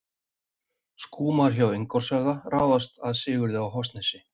Skúmar hjá Ingólfshöfða ráðast að Sigurði á Hofsnesi.